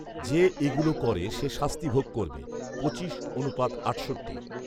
যে এগুলো করে সে শাস্তি ভোগ করবে পঁচিশ অনুপাত আটষট্টি